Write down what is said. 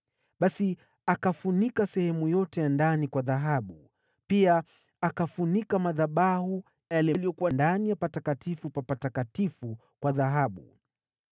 Basi akafunika sehemu yote ya ndani kwa dhahabu. Pia akafunika madhabahu yale yaliyokuwa ndani ya Patakatifu pa Patakatifu kwa dhahabu.